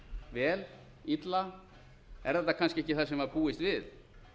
vel illa er þetta kannski ekki það sem var búist við